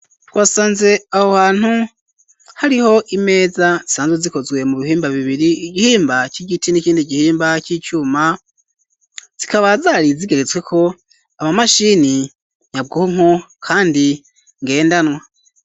Twasanze aho hantu hariho imeza zisanzwe zikozwe mu bihimba bibiri igihimba c'igiti n'ikindi gihimba c'icuma zikaba zari zigeretsweko amamashini nyabwonko kandi ngendanwa.